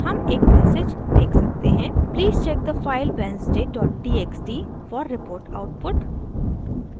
हम एक मैसेज देख सकते हैं: please check the file wednesday dot txt for report output